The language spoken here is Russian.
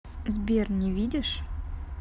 сбер не видишь